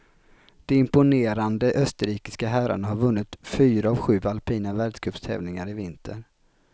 De imponerande österrikiska herrarna har vunnit fyra av sju alpina världscuptävlingar i vinter.